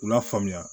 K'u lafaamuya